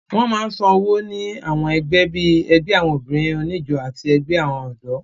Wọ́n máa ń san owó ní àwọn ẹgbẹ́ bíi ẹgbẹ́ àwọn obìnrin oníjó àti ẹgbẹ́ àwọn ọ̀dọ́